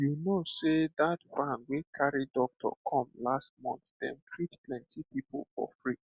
you know sey that van wey carry doctor come last month dem treat plenty people for free